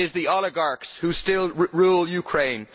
It is the oligarchs who still rule Ukraine.